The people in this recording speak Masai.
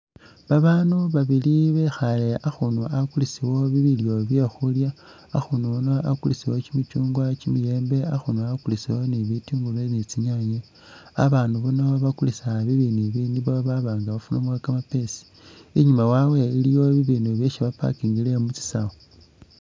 Babanu babili bekhale akhunu akulisibwawo bilyo byekhulya ,akhunu ano akulisibwawo kimichungwa, kyimiyembe akhunu ah akulisibwawo ni bityungulu ni tsinyanye ,abanu bano bakulisa bibinu ibi nebaba nga bafunamo kamapesi ,inyuma wawe iliwo bibinu byesi bapakingile mu tsisawu